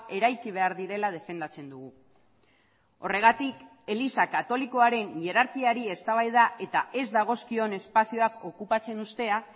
eraiki behar direla defendatzen dugu horregatik eliza katolikoaren hierarkiari eztabaida eta ez dagozkion espazioak okupatzen uztea